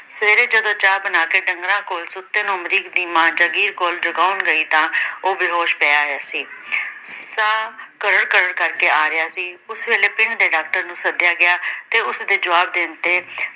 ਅਮਰੀਕ ਦੀ ਮਾਂ ਜਗੀਰ ਕੌਰ ਜਗਾਉਣ ਗਈ ਤਾਂ ਉਹ ਬੇਹੋਸ਼ ਪਿਆ ਹੈ ਸੀ, ਸਾਹ ਘਰਰ ਘਰਰ ਕਰਕੇ ਆ ਰਿਹਾ ਸੀ ਉਸ ਵੇਲੇ ਪਿੰਡ ਦੇ ਡਾਕਟਰ ਨੂੰ ਸੱਦਿਆ ਗਿਆ ਤੇ ੳੇੁਸ ਦੇ ਜਵਾਬ ਦੇਣ ਤੇ